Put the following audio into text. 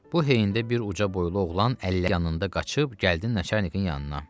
Bu heyində bir ucu büllə boylu oğlan əllərini yanında qaçıb gəldi Nəçərnikin yanına.